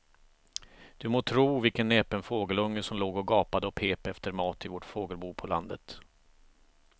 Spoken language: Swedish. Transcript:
Du må tro vilken näpen fågelunge som låg och gapade och pep efter mat i vårt fågelbo på landet.